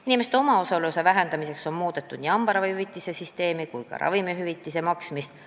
Inimeste omaosaluse vähendamiseks on muudetud nii hambaravihüvitise süsteemi kui ka ravimihüvitise maksmist.